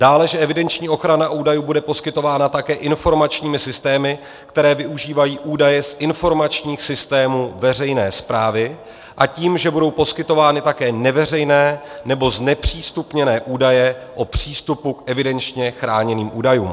Dále, že evidenční ochrana údajů bude poskytována také informačními systémy, které využívají údaje z informačních systémů veřejné správy, a tím, že budou poskytovány také neveřejné nebo znepřístupněné údaje o přístupu k evidenčně chráněným údajům.